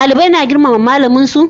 Dalibai na girmama malamin su?